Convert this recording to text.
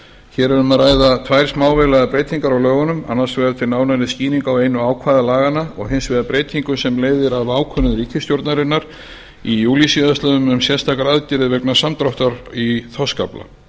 hér er um að ræða tvær smávægilegar breytingar á lögunum annars vegar til nánari skýringar á einu ákvæði laganna og hins vegar breytingum sem leiðir af ákvörðun ríkisstjórnarinnar í júlí síðastliðinn um sérstakar aðgerðir vegna samdráttar í þorskafla